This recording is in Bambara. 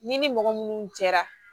Ni ni mɔgɔ minnu jɛra